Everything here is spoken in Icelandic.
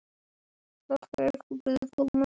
Þakka ykkur fyrir komuna.